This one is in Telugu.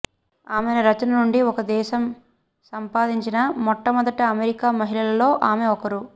ఆమె రచన నుండి ఒక దేశం సంపాదించిన మొట్టమొదటి అమెరికా మహిళలలో ఆమె ఒకరు